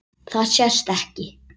Það sést ekki.